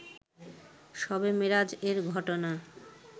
শবে মেরাজ এর ঘটনা